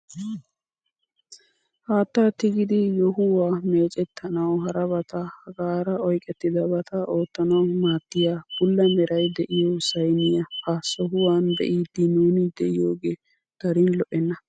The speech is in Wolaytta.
Haattaa tigidi yohuwaa mecettanawu harabata hegaara oyqettidabata oottanawu maadiyaa bulla meray de'iyoo sayniyaa ha sohuwaan be'iidi nuni de'iyooge darin lo"enna!